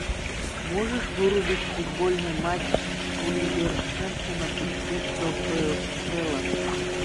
можешь вырубить футбольный матч вулверхэмптона и кристал пэлас